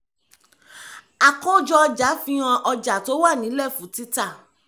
àkójọ-ọjà fi hàn ọjà tó wà nílẹ̀ fún títà